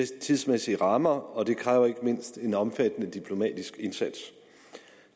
tidsmæssige rammer og det kræver ikke mindst en omfattende diplomatisk indsats